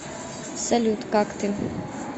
салют как ты